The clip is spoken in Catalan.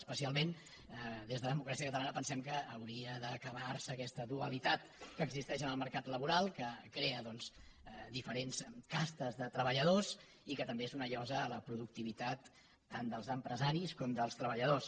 especialment des de democràcia catalana pensem que hauria d’acabar se aquesta dualitat que existeix en el mercat laboral que crea diferents castes de treballadors i que també és una llosa a la productivitat tant dels empresaris com dels treballadors